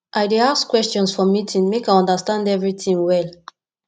i dey ask questions for meeting make i understand everytin well